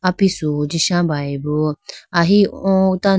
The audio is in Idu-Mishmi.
apisu huji sha bayeboo ahi oo tan--